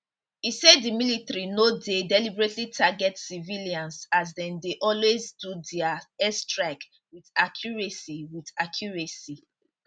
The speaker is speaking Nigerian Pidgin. e say di military no dey deliberately target civilians as dem dey always do dia airstrikes wit accuracy wit accuracy